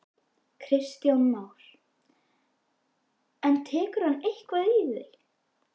Kristján Már: En tekur hann eitthvað í?